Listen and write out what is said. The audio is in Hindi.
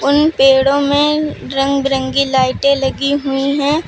उन पेड़ों में रंग बिरंगी लाइटें लगी हुई है।